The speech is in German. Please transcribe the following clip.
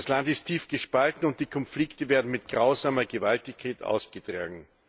Das Land ist tief gespalten, und die Konflikte werden mit grausamer Gewalttätigkeit ausgetragen.